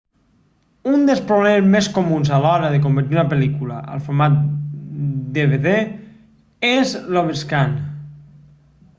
un dels problemes més comuns a l'hora de convertir una pel·lícula al format dvd és l'overscan